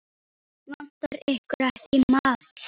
Vantar ykkur ekki maðk?